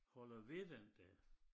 Holder ved den der